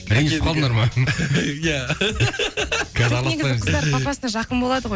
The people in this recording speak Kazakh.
ренжісіп қалдыңдар ма иә негізі қыздар папасына жақын болады ғой